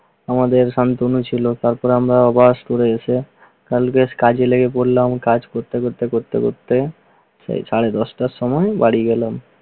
আমাদের শান্তনু ছিল। তারপর আমরা আবার store এ এসে কাজে লেগে পড়লাম। কাজ করতে করতে করতে করতে করতে সেই সাড়ে দশটার সময় বাড়ি গেলাম।